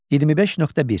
25.1.